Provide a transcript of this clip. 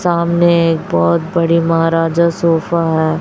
सामने एक बहुत बड़ी महाराजा सोफा है।